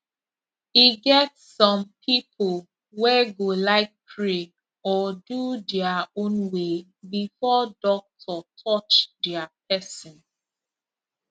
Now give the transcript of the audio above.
e get some people wey go like pray or do their own way before doctor touch their person